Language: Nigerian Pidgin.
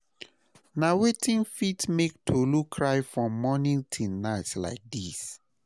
Na wetin fit make Tolu cry from morning till night like this?